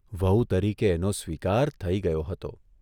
વહુ તરીકે એનો સ્વીકાર થઇ ગયો હતો.